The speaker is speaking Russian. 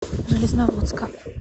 железноводска